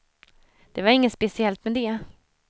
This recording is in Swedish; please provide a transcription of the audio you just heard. Det var inget speciellt med det.